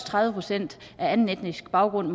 tredive procent af anden etnisk baggrund